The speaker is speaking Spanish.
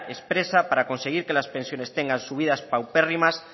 expresa para conseguir que las pensiones tengan subidas paupérrimas